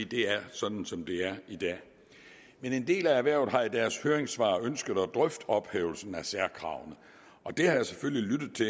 det er sådan som det er i dag men en del af erhvervet har i deres høringssvar ønsket at drøfte ophævelsen af særkravene det har jeg selvfølgelig lyttet til